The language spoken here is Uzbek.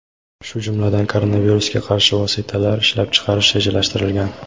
shu jumladan koronavirusga qarshi vositalar ishlab chiqarish rejalashtirilgan.